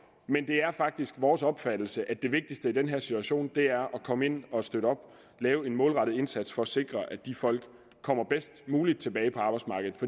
men det er faktisk vores opfattelse at det vigtigste i den her situation er at komme ind og støtte op og lave en målrettet indsats for at sikre at de folk kommer bedst muligt tilbage på arbejdsmarkedet